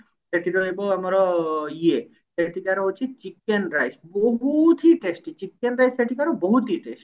ସେଠି ରହିବ ଆମର ଇଏ ସେଠିକାର ହଉଛି chicken rise ବହୁତ ହି testy chicken rise ସେଠିକାର ବହୁତ ହିଁ testy